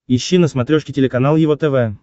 ищи на смотрешке телеканал его тв